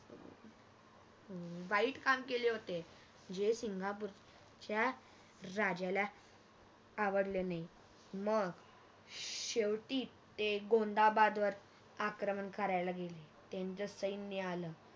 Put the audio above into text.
वाईट काम केले होते जे सिंगापूरच्या राजाला आवडले नाही मग शेवटी ते गोंदाबादवर आक्रमण कारायला गेले त्यांच सैन्य आल